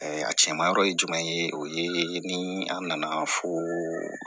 a cɛman yɔrɔ ye jumɛn ye o ye ni an nana fo